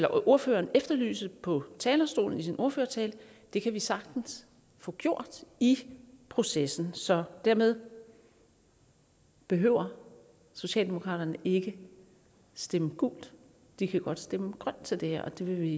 ordføreren efterlyste på talerstolen i sin ordførertale kan vi sagtens få gjort i processen så dermed behøver socialdemokratiet ikke stemme gult de kan godt stemme grønt til det her og det vil vi